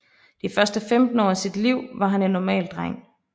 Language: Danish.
De første 15 år af sit liv var han en normal dreng